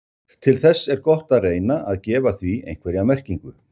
til þess er gott að reyna að gefa því einhverja merkingu